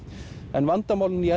en vandamálin í